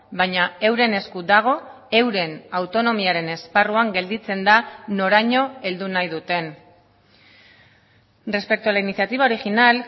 baina euren esku dago euren autonomiaren esparruan gelditzenda noraino heldu nahi duten respecto a la iniciativa original